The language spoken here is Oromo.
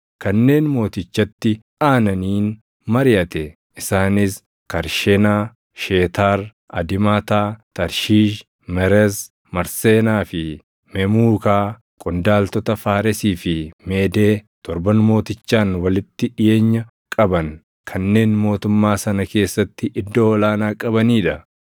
kanneen mootichatti aananiin mariʼate; isaanis Karshenaa, Sheetaar, Adimaataa, Tarshiish, Meres, Marseenaa fi Memuukaa qondaaltota Faaresii fi Meedee torban mootichaan walitti dhiʼeenya qaban kanneen mootummaa sana keessatti iddoo ol aanaa qabanii dha.